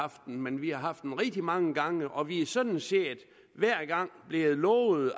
haft den men vi har haft den rigtig mange gange og vi er sådan set hver gang blevet lovet